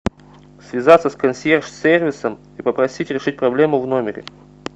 связаться с консьерж сервисом и попросить решить проблему в номере